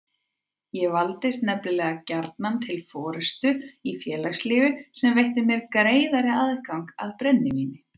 Ég valdist nefnilega gjarnan til forystu í félagslífi sem veitti mér greiðari aðgang að brennivíni.